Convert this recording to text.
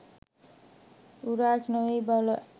උරාජ් නෙවෙයි බොල